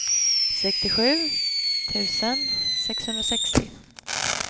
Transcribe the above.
sextiosju tusen sexhundrasextio